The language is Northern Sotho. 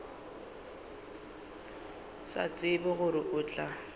sa tsebe gore o tla